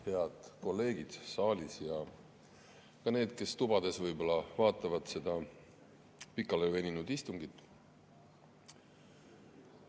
Head kolleegid saalis ja ka need, kes tubades võib-olla vaatavad seda pikale veninud istungit!